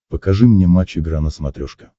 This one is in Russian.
покажи мне матч игра на смотрешке